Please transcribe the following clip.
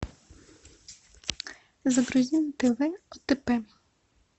загрузи на тв отп